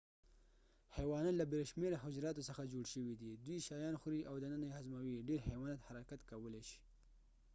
حيوانات له بې شمیره حجراتو څخه جوړ شوې دې دوی شیان خوري او دننه یې هضموي ډير حيوانات حرکت کولي شې